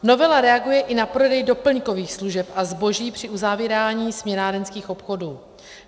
Novela reaguje i na prodej doplňkových služeb a zboží při uzavírání směnárenských obchodů.